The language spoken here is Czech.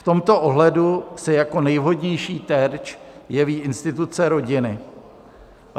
V tomto ohledu se jako nejvhodnější terč jeví instituce rodiny.